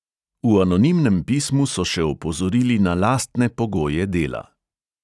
V anonimnem pismu so še opozorili na lastne pogoje dela.